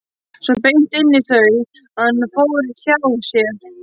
Svo beint inn í þau að hann fór hjá sér.